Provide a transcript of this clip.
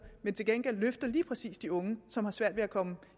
men til gengæld løfter lige præcis de unge som har svært ved at komme